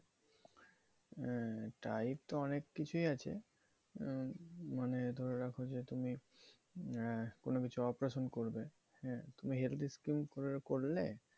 আহ type তো অনেক কিছুই আছে, উম মানে ধরে রাখো যে তুমি আহ কোনো কিছু operation করবে, হ্যাঁ তুমি health scheme করলে